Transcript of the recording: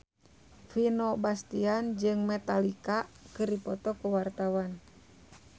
Vino Bastian jeung Metallica keur dipoto ku wartawan